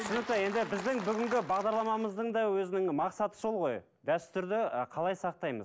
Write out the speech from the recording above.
түсінікті енді біздің бүгінгі бағдарламамыздың да өзінің мақсаты сол ғой дәстүрді ы қалай сақтаймыз